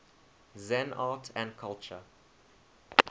zen art and culture